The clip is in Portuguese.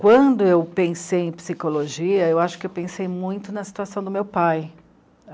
Quando eu pensei em psicologia, eu acho que eu pensei muito na situação do meu pai.